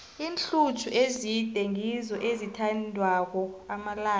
iinhluthu ezide ngizo ezithandwako amalanga la